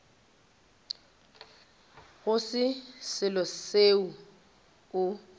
go se selo seo o